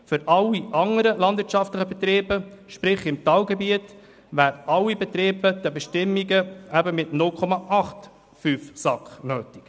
Für alle anderen landwirtschaftlichen Betriebe – sprich: im Talgebiet – wären 0,85 SAK nötig.